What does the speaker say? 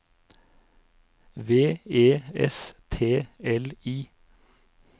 V E S T L I